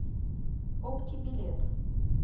опти билет